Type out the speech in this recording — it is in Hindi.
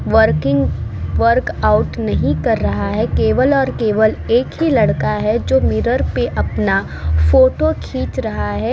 वर्किंग वर्कआउट नहीं कर रहा है केवल और केवल एक ही लड़का है जो मिरर पे अपना फोटो खींच रहा है।